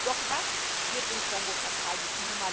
Doch was wird im Kongo verteidigt?